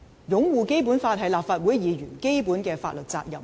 擁護《基本法》是立法會議員的基本法律責任。